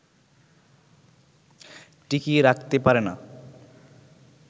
টিকিয়ে রাখতে পারে না